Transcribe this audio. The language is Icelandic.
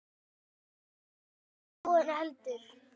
Það stenst varla skoðun heldur.